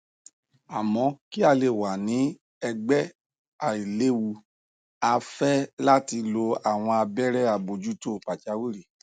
amo ki a le wa ni ẹgbẹ ailewu a fẹ lati lo awọn abẹrẹ abojuto pajawiri